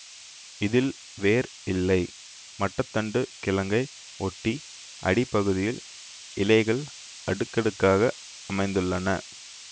இதில் வேர் இல்லை மட்ட தண்டு கிழங்கை ஒட்டி அடிப்பகுதியில் இலைகள் அடுக்கடுக்காக அமைந்துள்ளன